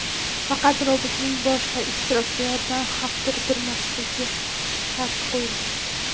Faqat robotning boshqa ishtirokchilarga xavf tug‘dirmasligi sharti qo‘yildi.